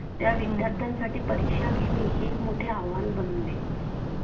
त्या विद्यार्थ्यां साठी परीक्षा घेणे हे एक मोठे आव्हान बनले